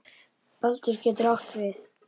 Baldur getur átt við